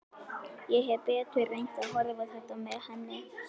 Ég hefði betur reynt að horfa á þetta með henni.